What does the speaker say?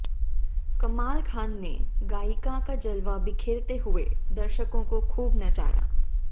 कमाल खान ने गायिका का जलवा बिखेरते हुए दर्शकों को खूब नचाया